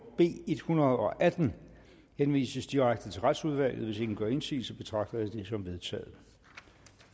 b en hundrede og atten henvises direkte til retsudvalget hvis ingen gør indsigelse betragter jeg